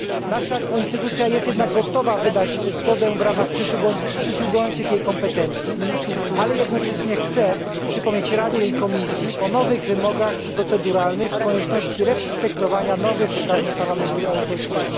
Nasza instytucja jest jednak gotowa wydać zgodę w ramach przysługujących jej kompetencji, ale jednocześnie należy przypomnieć Radzie i Komisji o nowych wymogach proceduralnych i konieczności przestrzegania nowych uprawnień Parlamentu Europejskiego.